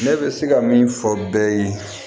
Ne bɛ se ka min fɔ bɛɛ ye